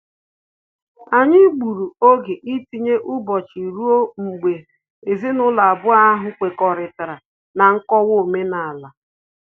Anyị gburu oge itinye ụbọchị rue mgbe ezinụlọ abụọ ahụ kwekọrịta na nkọwa omenala